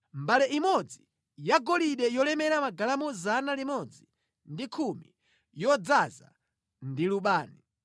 mbale imodzi yagolide yolemera magalamu 110, yodzaza ndi lubani;